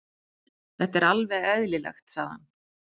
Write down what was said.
Þetta er alveg eðlilegt, sagði hann.